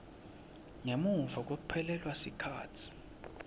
ngemuva kwekuphelelwa sikhatsi